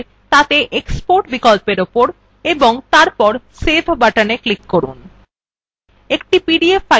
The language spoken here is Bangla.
যে dialog box দেখা যাচ্ছে তাতে export বিকল্প উপর এবং তারপর save button click করুন